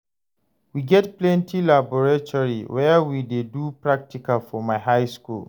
We get plenty laboratory where we dey do practical for my high skool.